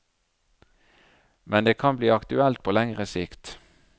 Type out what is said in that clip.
Men det kan bli aktuelt på lengre sikt.